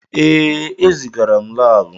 Ee, ezigara m laabụ.